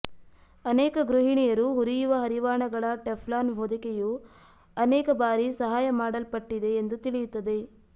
ಅನೇಕ ಗೃಹಿಣಿಯರು ಹುರಿಯುವ ಹರಿವಾಣಗಳ ಟೆಫ್ಲಾನ್ ಹೊದಿಕೆಯು ಅನೇಕ ಬಾರಿ ಸಹಾಯ ಮಾಡಲ್ಪಟ್ಟಿದೆ ಎಂದು ತಿಳಿಯುತ್ತದೆ